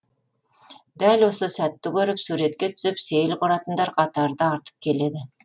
дәл осы сәтті көріп суретке түсіп сейіл құратындар қатары да артып келеді